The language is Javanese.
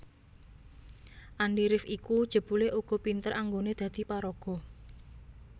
Andi rif iku jebulé uga pinter anggoné dadi paraga